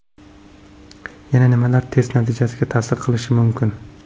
Yana nimalar test natijasiga ta’sir qilishi mumkin?